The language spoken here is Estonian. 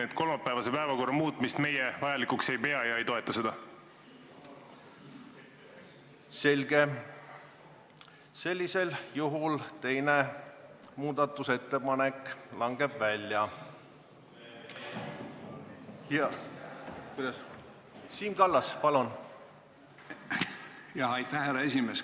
Aitäh, härra esimees!